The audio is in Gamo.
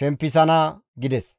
shempisana» gides.